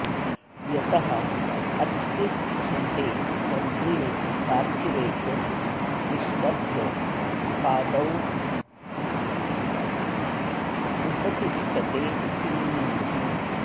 यतः अत्युच्छ्रिते मन्त्रिणि पार्थिवे च विष्टभ्य पादावुपतिष्ठते श्रीः